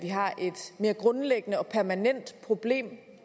mere grundlæggende og permanent problem